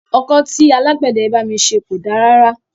Ọkọ́ tí alágbẹ̀dẹ yìí bá mi ṣe kò da rárá.